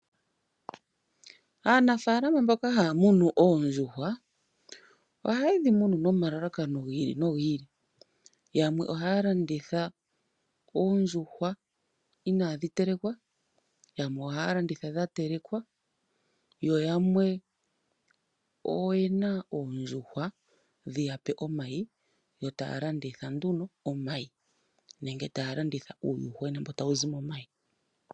Aanafaalama mboka haya munu oondjuhwa, ohaye dhi munu nomalalakano gi ili nogi ili. Yamwe ohaya landitha oondjuhwa inadhi telekwa, yamwe ohaya landitha dha telekwa, yo yamwe oyena oondjuhwa dhiya pe omayi, etaya landitha nduno omayi nenge taya landitha uuyuhwena mboka tawu zi momayi.